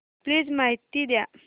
please माहिती द्या